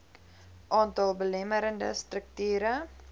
aantal belemmerende strukture